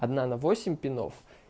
одна на восемь пинов